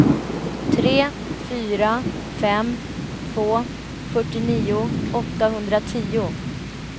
tre fyra fem två fyrtionio åttahundratio